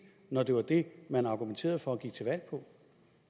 når det var det man argumenterede for